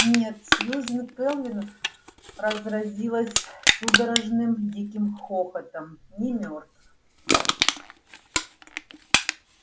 нет сьюзен кэлвин разразилась судорожным диким хохотом не мёртв